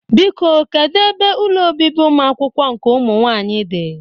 Biko, kedu ebe ụlọ obibi ụmụakwụkwọ nke ụmụnwaanyị dị?